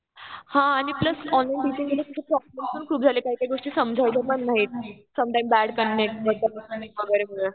हा आणि plus online टिचिंगने ना प्रॉब्लेम पण खूप झाले. काही काही गोष्टी समजायच्या पण नाहीत. समटाईम बॅड इंटरनेट मधनं मधनं